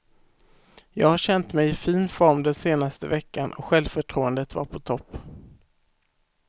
Jag har känt mig i fin form den senaste veckan och självförtroendet var på topp.